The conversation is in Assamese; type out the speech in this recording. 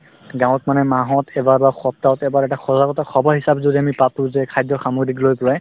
গাঁৱত মানে মাহত এবাৰ বা সপ্তাহত এবাৰ এটা সজাগতা সভা হিচাপে যদি আমি পাতো যে খাদ্য সামগ্ৰীক লৈ পেলায়